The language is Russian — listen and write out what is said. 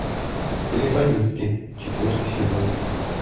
телефонистки четвертый сезон